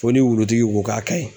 Fo ni wulutigi ko k'a ka ɲi.